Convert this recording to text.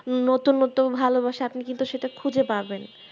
নতুন নতুন ভালোবাসা আপনি কিন্তু সেটা খুঁজে পাবেন